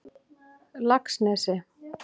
Laxnesi